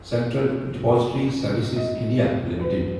central depository services India limited